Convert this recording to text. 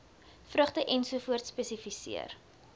vrugte ens spesifiseer